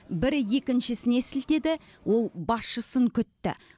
бірі екіншісіне сілтеді ол басшысын күтті